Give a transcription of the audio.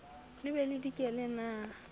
le be le dikele na